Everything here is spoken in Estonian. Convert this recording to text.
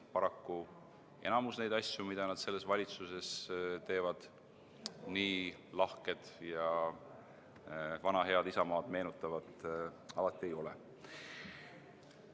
Paraku enamik neid asju, mida nad selles valitsuses teevad, nii lahket ja vana head Isamaad alati ei meenuta.